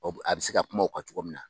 Ɔ a bɛ se ka kuma o kan cogo min na.